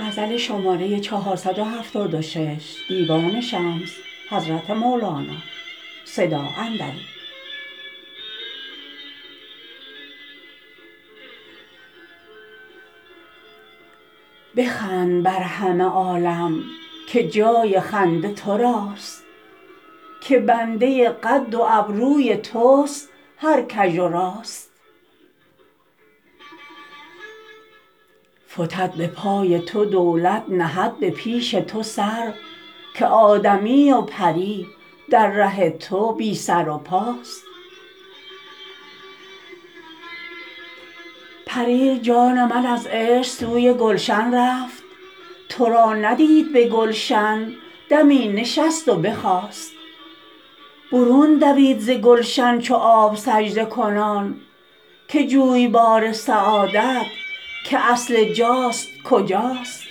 بخند بر همه عالم که جای خنده تو راست که بنده قد و ابروی تست هر کژ و راست فتد به پای تو دولت نهد به پیش تو سر که آدمی و پری در ره تو بی سر و پاست پریر جان من از عشق سوی گلشن رفت تو را ندید به گلشن دمی نشست و نخاست برون دوید ز گلشن چو آب سجده کنان که جویبار سعادت که اصل جاست کجاست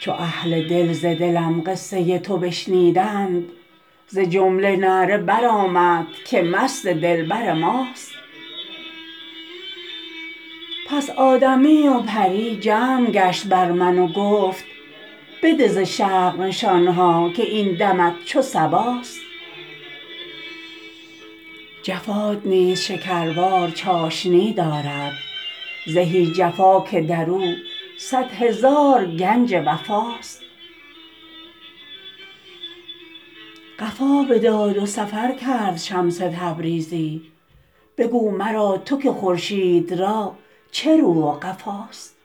چو اهل دل ز دلم قصه تو بشنیدند ز جمله نعره برآمد که مست دلبر ماست پس آدمی و پری جمع گشت بر من و گفت بده ز شرق نشان ها که این دمت چو صباست جفات نیز شکروار چاشنی دارد زهی جفا که در او صد هزار گنج وفاست قفا بداد و سفر کرد شمس تبریزی بگو مرا تو که خورشید را چه رو و قفاست